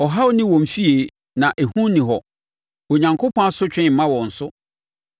Ɔhaw nni wɔn afie na ehu nni hɔ; Onyankopɔn asotwe mma wɔn so.